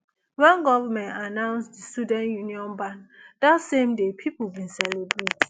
wen goment announce di student union ban dat same day pipo bin celebrate